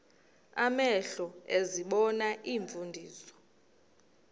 amehlo ezibona iimfundiso